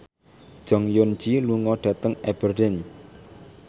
Jong Eun Ji lunga dhateng Aberdeen